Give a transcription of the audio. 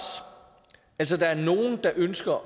altså der er nogle der ønsker